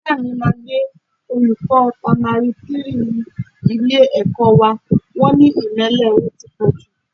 Ìyá mi máa lé olùkọ́ pamari three ilé-ẹ̀kọ́ wá, wọn ní ìmẹ́lẹ́ rẹ ti pọ̀ jù